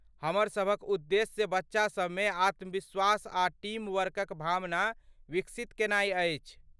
हमर सभक उद्देश्य बच्चा सभमे आत्मविश्वास आ टीम वर्कक भावना विकसित केनाई अछि।